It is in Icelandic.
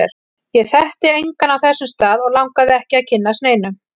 Ég þekkti engan á þessum stað, og langaði ekki að kynnast neinum.